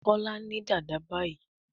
Kola ní Dàda bayí.